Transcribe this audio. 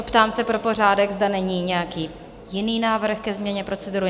Optám se pro pořádek, zda není nějaký jiný návrh ke změně procedury?